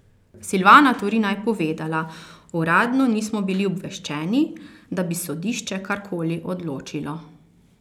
Silvana Turina je povedala: "Uradno nismo bili obveščeni, da bi sodišče karkoli odločilo.